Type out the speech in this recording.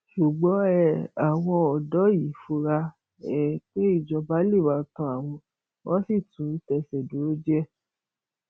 ṣùgbọn um àwọn ọdọ yìí fura um pé ìjọba lè máa tán àwọn wọn sì tún tẹsẹ dúró díẹ